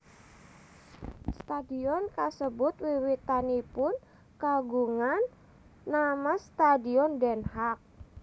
Stadion kasebut wiwitanipun kagungan nama Stadion Den Haag